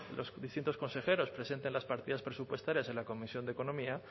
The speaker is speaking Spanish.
los distintos consejeros presenten las partidas presupuestarias en la comisión de economía